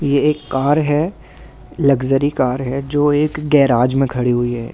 यह एक कार है लग्जरी कार है जो एक गेराज में खड़ी हुई है।